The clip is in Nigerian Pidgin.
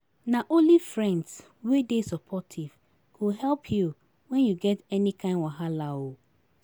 Na only friends wey dey supportive go help you when you get any kain wahala. um